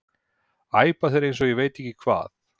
æpa þeir eins og ég veit ekki hvað.